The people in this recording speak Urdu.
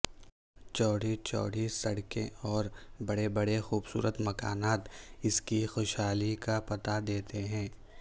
چوڑی چوڑی سڑکیں اور بڑے بڑے خوبصورت مکانات اس کی خوشحالی کا پتہ دیتے ہیں